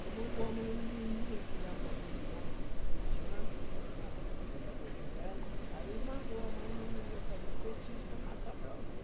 Aí mandou a mãe menininha, que já morreu, tem mais de vinte anos, que já morreu ela, aí mandou a mãe menininha fazer um feitiço para matar meu avô.